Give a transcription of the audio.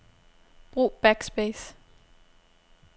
Brug backspace.